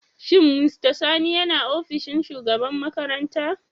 Shin mr sani yana ofishin shugaban makaranta?